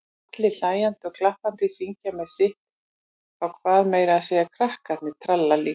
Allir hlæjandi og klappandi, syngja með sitt á hvað, meira að segja krakkarnir tralla líka.